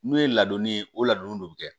N'o ye ladonni ye o ladonni de bɛ kɛ